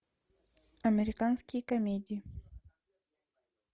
американские комедии